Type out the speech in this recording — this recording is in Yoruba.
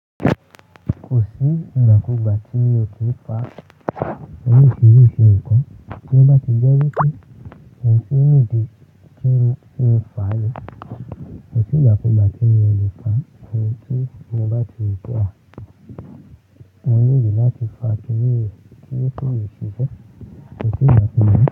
Kò sí ìgbàkúgbà tí o ti fà oríṣiríṣi nǹkan, tí ó bá ti jẹ́ wípé ohun tí ó nídi ti ń fa yẹn kò sí ìgbàkúgbà tí ẹni yẹn lè fa ohun tí mo bá ti wí pé àwọn mo nìdí láti fa keni yé tí yé ti jẹ́ kò sí ìgbàkúgbà.